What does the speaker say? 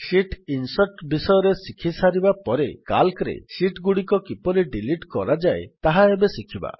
sheet insert ବିଷୟରେ ଶିଖି ସାରିବାପରେ ସିଏଏଲସି ରେ ଶୀଟ୍ ଗୁଡିକ କିପରି ଡିଲିଟ୍ କରାଯାଏ ତାହା ଏବେ ଶିଖିବା